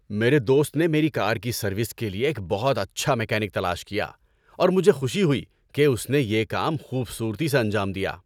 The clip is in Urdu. میرے دوست نے میری کار کی سروس کے لیے ایک بہت اچھا میکینک تلاش کیا اور مجھے خوشی ہوئی کہ اس نے یہ کام خوبصورتی سے انجام دیا۔